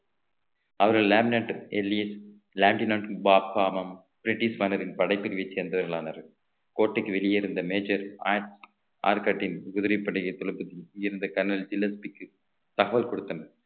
அவர்கள் லேமினேட் பிரிட்டிஷ் மேனரின் படைப்பிரிவைச் சேர்ந்தவர்களானர் கோட்டைக்கு வெளியே இருந்த major ஆயிற்~ ஆற்காட்டில் குதிரைப் பபடைத் தளபதி இருந்த கர்னல் தகவல் கொடுத்தனர்